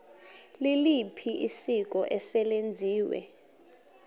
liliphi isiko eselenziwe